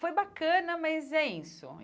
Foi bacana, mas é isso.